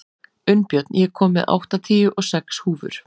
Unnbjörn, ég kom með áttatíu og sex húfur!